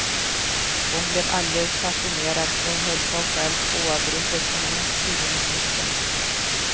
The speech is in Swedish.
Hon blev alldeles fascinerad och höll på själv oavbrutet i minst tio minuter.